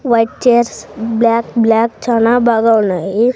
White chairs black black చానా బాగా ఉన్నాయి.